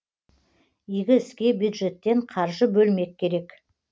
игі іске бюджеттен қаржы бөлмек керек